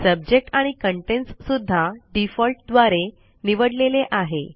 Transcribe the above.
subject आणि contents सुद्धा default द्वारे निवडलेले आहे